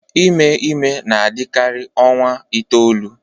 Ime ime na-adịkarị ọnwa itoolu